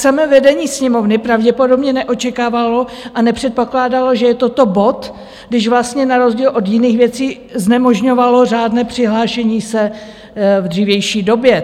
Samé vedení Sněmovny pravděpodobně neočekávalo a nepředpokládalo, že je toto bod, když vlastně na rozdíl od jiných věcí znemožňovalo řádné přihlášení se v dřívější době.